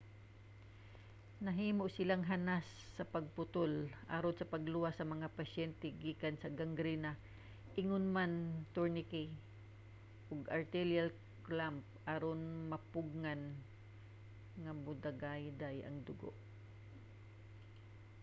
nahimo silang hanas sa pagputol aron sa pagluwas sa mga pasyente gikan sa gangrena ingon man mga tourniquet ug arterial clamp aron mapugngan nga modagayday ang dugo